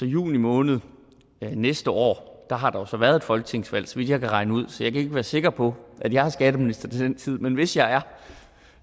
i juni måned næste år har der jo så været et folketingsvalg så vidt jeg kan regne ud så jeg kan ikke være sikker på at jeg er skatteminister til den tid men hvis jeg